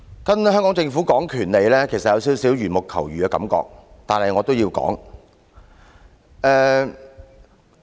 跟香港政府談論權利，其實有少許緣木求魚的感覺，但我也要說下去。